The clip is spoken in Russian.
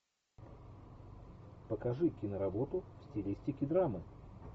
покажи киноработу в стилистике драмы